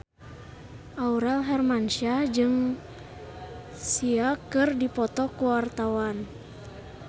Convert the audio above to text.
Aurel Hermansyah jeung Sia keur dipoto ku wartawan